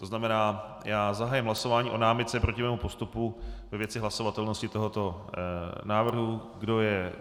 To znamená, já zahájím hlasování o námitce proti mému postupu ve věci hlasovatelnosti tohoto návrhu.